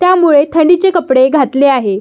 त्यामुळे थंडी चे कपडे घातले आहे.